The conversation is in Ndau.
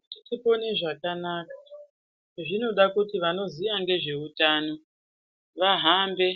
Kuti tipone zvakanaka zvinoda kuti vanoziya ngezveutano vahambe